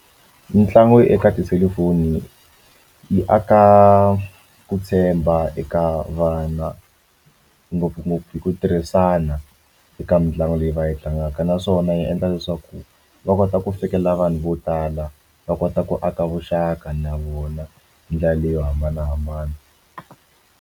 Mitlangu eka tiselufoni yi aka ku tshemba eka vana ngopfungopfu hi ku tirhisana eka mitlangu leyi va yi tlangaka naswona yi endla leswaku va kota ku fikelela vanhu vo tala va kota ku aka vuxaka na vona hi ndlela leyi yo hambanahambana.